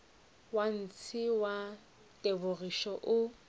wa ntshe wa tebogišo o